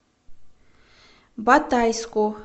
батайску